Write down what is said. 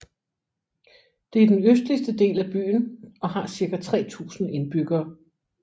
Det er den østligste del af byen og har cirka 3000 indbyggere